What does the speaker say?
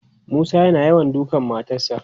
Musa yana yawan dukan matarsa.